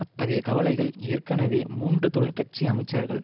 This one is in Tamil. அத்தகைய கவலைகள் ஏற்கனவே மூன்று தொழிற்கட்சி அமைச்சர்கள்